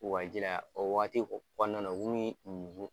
a ji la, o waati kɔnɔna na